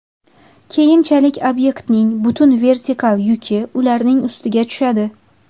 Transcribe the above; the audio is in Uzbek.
Keyinchalik obyektning butun vertikal yuki ularning ustiga tushadi.